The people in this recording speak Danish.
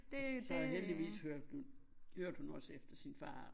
Så heldigvis hørte hun hørte hun også efter sin far